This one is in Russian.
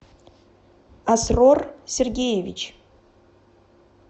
асрор сергеевич